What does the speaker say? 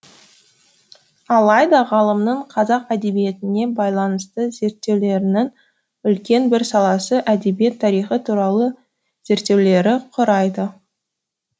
алайда ғалымның қазақ әдебиетіне байланысты зерттеулерінің үлкен бір саласын әдебиет тарихы туралы зерттеулері құрайды